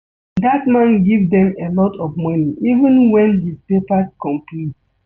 Dat man give dem a lot of money even wen his papers complete